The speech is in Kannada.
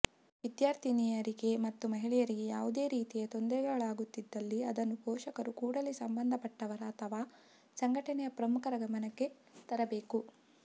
ವಿದ್ಯಾರ್ಥಿನಿಯರಿಗೆ ಮತ್ತು ಮಹಿಳೆಯರಿಗೆ ಯಾವುದೇ ರೀತಿಯ ತೊಂದರೆಗಳಾಗುತ್ತಿದ್ದಲ್ಲಿ ಅದನ್ನು ಪೋಷಕರು ಕೂಡಲೇ ಸಂಬಂಧಪಟ್ಟವರ ಅಥವಾ ಸಂಘಟನೆಯ ಪ್ರಮುಖರ ಗಮನಕ್ಕೆ ತರಬೇಕು